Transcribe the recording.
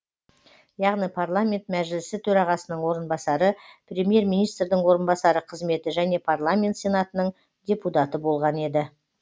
яғни парламент мәжілісі төрағасының орынбасары премьер министрдің орынбасары қызметі және парламент сенатының депутаты болған еді